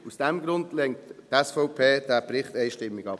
Aus diesem Grund lehnt die SVP diesen Bericht einstimmig ab.